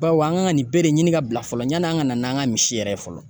Bawo an ka nin bɛɛ de ɲini ka bila fɔlɔ yani an ka na n'an ka misi yɛrɛ ye fɔlɔ